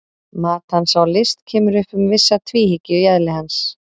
Mat hans á list kemur upp um vissa tvíhyggju í eðli hans.